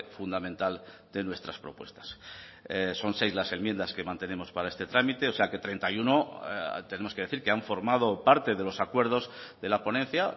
fundamental de nuestras propuestas son seis las enmiendas que mantenemos para este trámite o sea que treinta y uno tenemos que decir que han formado parte de los acuerdos de la ponencia